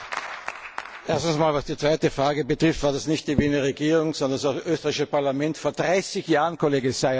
Was die zweite Frage betrifft, war das nicht die Wiener Regierung, sondern das österreichische Parlament vor 30 Jahren, Kollege Szájer vor 30 Jahren!